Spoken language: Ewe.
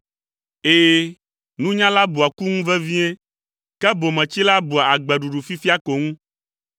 Ɛ̃, nunyala bua ku ŋu vevie ke bometsila bua agbeɖuɖu fifia ko ŋu.